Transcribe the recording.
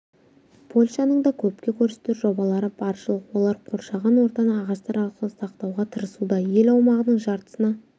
польшаның да көпке көрсетер жобалары баршылық олар қоршаған ортаны ағаштар арқылы сақтауға тырысуда ел аумағының жартысына